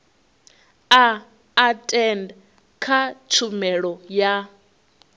a etd kha tshumelo ya